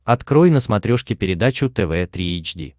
открой на смотрешке передачу тв три эйч ди